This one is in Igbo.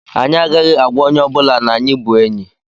Anyị agaghị agwa onye ọbụla na anyị bụ enyị.